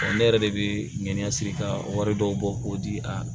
ne yɛrɛ de bi ŋɛni ka wari dɔw bɔ k'o di a ma